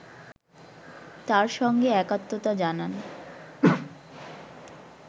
তার সঙ্গে একাত্মতা জানান